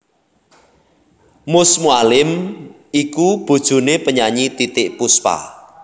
Mus Mualim iku bojoné penyanyi Titiek Puspa